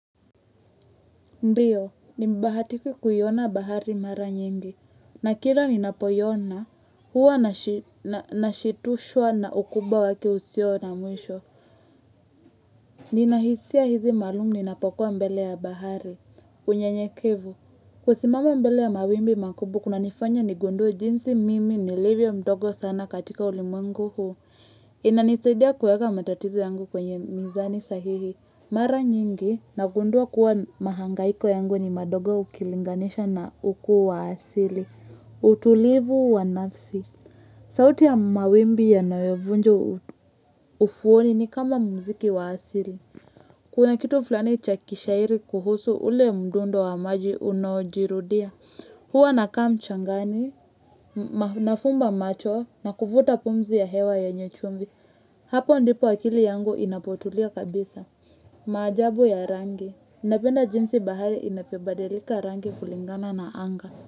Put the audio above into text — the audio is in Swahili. Ndiyo, nimebahatika kuiona bahari mara nyingi, na kila ninapoiona, huwa nashitushwa na ukubwa wake usio na mwisho. Ninahisia hizi maalumu ninapokuwa mbele ya bahari, unye nyekevu. Kusimama mbele ya mawimbi makubwa, kunanifanya nigundue jinsi mimi nilivyo mdogo sana katika ulimwengu huu. Inanisaidia kuweka matatizo yangu kwenye mizani sahihi. Mara nyingi, nagundua kuwa mahangaiko yangu ni madogo ukilinganisha na ukuu wa asili. Utulivu wa nafsi. Sauti ya mawimbi yanoyovunja ufuoni ni kama muziki wa asili. Kuna kitu fulani chakishairi kuhusu ule mdundo wa maji unaojirudia. Huwa nakaa mchangani, nafumba macho na kuvuta pumzi ya hewa yenye chumvi. Hapo ndipo akili yangu inapotulia kabisa. Maajabu ya rangi Napenda jinsi bahari inavyobadilika rangi kulingana na anga.